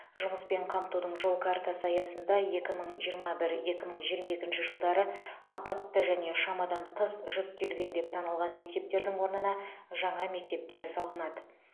жұмыспен қамтудың жол картасы аясында екі мың жиырма бір екі мың жиырма екінші жылдары апатты және шамадан тыс жүктелген деп танылған мектептердің орнына жаңа мектептер салынады